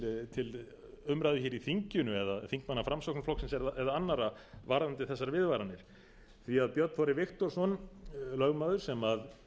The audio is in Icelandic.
til umræðu hér í þinginu eða þingmanna framsóknarflokksins eða annarra varðandi þessar viðvaranir því björn þorri viktorsson lögmaður sem